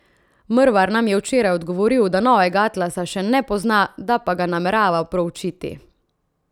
Mrvar nam je včeraj odgovoril, da novega atlasa še ne pozna, da pa ga namerava proučiti.